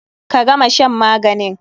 Ka gama shan maganin!